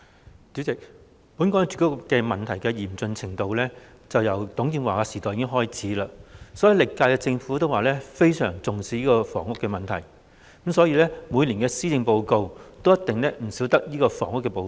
代理主席，本港住屋問題嚴峻，由董建華時代已開始，歷屆政府均表示非常重視房屋問題，因此每年的施政報告也一定少不了房屋這部分。